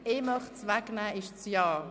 Von der Traktandenliste wegnehmen heisst Ja.